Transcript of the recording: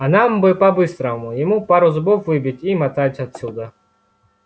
а нам бы по-быстрому ему пару зубов выбить и мотать отсюда